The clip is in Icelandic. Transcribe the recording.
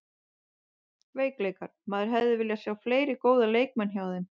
Veikleikar: Maður hefði viljað sjá fleiri góða leikmenn hjá þeim.